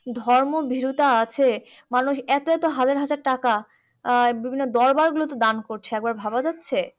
ধর্ম ভীরুতা আছে মানুষ এতো এতো হাজার হাজার টাকা আহ বিভিন্ন দরবার গুলোতে দেন করছে একবার ভাবা যাচ্ছে